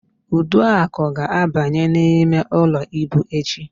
Uduak ga-abanye n'imeụlọ íbù echi.